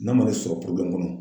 N'a mana ne sɔrɔ kɔnɔ